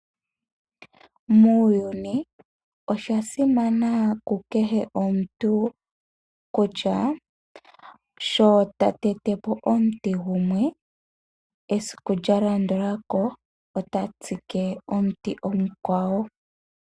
Muuyuni osha simana ku kehe omuntu kutya sho ta tetepo omuti gumwe, esiku lyalandulako ota tsike omuti omukwawo.